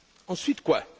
Ensuite quoi?